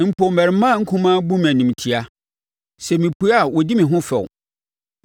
Mpo, mmarimmaa nkumaa bu me animtiaa; sɛ mepue a wɔdi me ho fɛw.